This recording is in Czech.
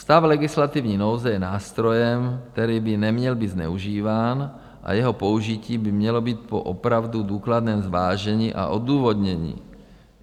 Stav legislativní nouze je nástrojem, který by neměl být zneužíván, a jeho použití by mělo být po opravdu důkladném zvážení a odůvodnění.